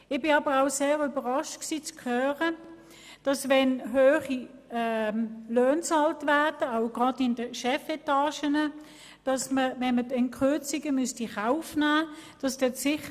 Es hat mich aber sehr überrascht zu hören, dass wenn gerade in den Chefetagen hohe Löhne bezahlt werden, sicher nichts daran geändert werden sollte, wenn Kürzungen in Kauf genommen werden müssten.